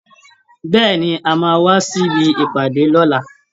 Bẹ́ẹ̀ẹ̀ ni, a máa wá sí ibi ìpàdé lọ́la